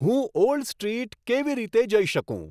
હું old street કેવી રીતે જઈ શકું